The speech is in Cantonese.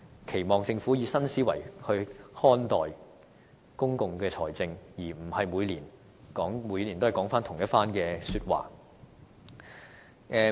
期望政府以新思維來看待公共財政，而不是每年都說回同一番說話。